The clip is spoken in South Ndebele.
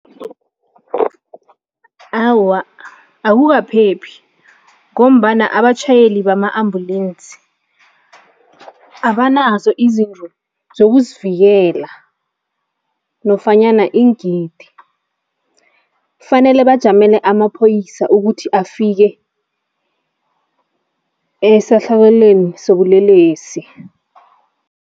Awa, akukaphephi ngombana abatjhayeli bama-ambulensi abanazo izindlu zokuzivikela nofanyana iingidi, kufanele bajamele amaphoyisa ukuthi afike esahlakalweni sobulelesi.